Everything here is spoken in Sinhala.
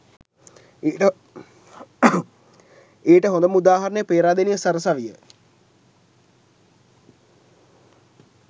ඊට හොඳම උදාහරණය පේරාදෙණිය සරසවිය